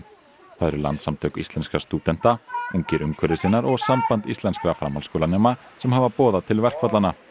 það eru Landssamtök íslenskra stúdenta ungir umhverfissinnar og Samband íslenskra framhaldsskólanema sem hafa boðað til verkfallanna